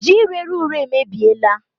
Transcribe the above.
Ji rere ure emebiela